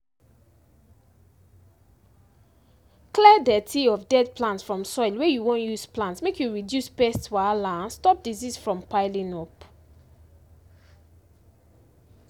clear dirty of dead plant from soil wey you wan use plant make you reduce pest wahala and stop disease from piling up